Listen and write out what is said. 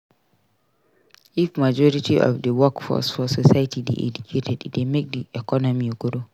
If majority of the workforce for society de educated e de make di economy grow